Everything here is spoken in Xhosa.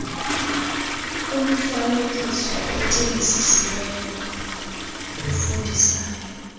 umfaneekiso ocingisisiweyo ofundisayo